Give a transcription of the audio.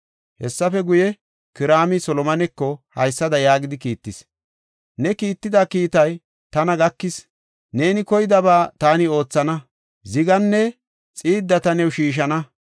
Hessafe guye Kiraami Solomoneko haysada yaagidi kiittis; “Ne kiitida kiitay tana gakis. Neeni koydaba taani oothana; ziganne xiidda ta new shiishana.